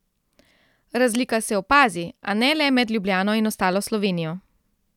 Razlika se opazi, a ne le med Ljubljano in ostalo Slovenijo.